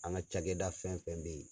An ka cakɛda fɛn fɛn bɛ ye.